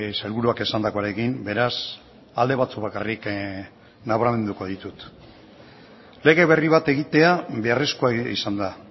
sailburuak esandakoarekin beraz alde batzuk bakarrik nabarmenduko ditut lege berri bat egitea beharrezkoa izan da